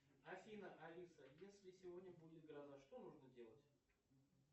афина алиса если сегодня будет гроза что нужно делать